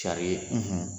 Sari